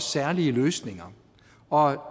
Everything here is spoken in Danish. særlige løsninger og